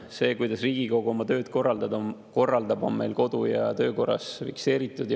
See, kuidas Riigikogu oma tööd korraldab, on meil kodu‑ ja töökorras fikseeritud.